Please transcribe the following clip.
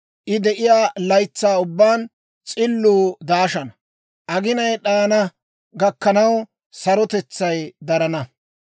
I de'iyaa laytsaa ubbaan s'illuu daashana; aginay d'ayana gakkanaw sarotetsay darana.